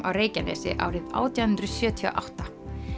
á Reykjanesi árið átján hundruð sjötíu og átta